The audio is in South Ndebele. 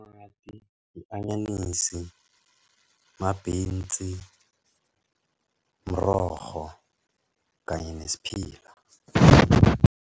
I-anyanisi, ma-beans, mrorho, kanye nesiphila.